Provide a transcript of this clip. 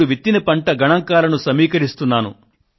ఇప్పుడు విత్తిన పంట గణాంకాలను సమీకరిస్తున్నాను